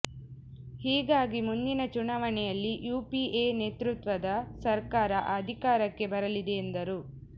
ಹೀಗಾಗಿ ಮುಂದಿನ ಚುನಾವಣೆಯಲ್ಲಿ ಯುಪಿಎ ನೇತೃತ್ವದ ಸರ್ಕಾರ ಅಧಿಕಾರಕ್ಕೆ ಬರಲಿದೆ ಎಂದರು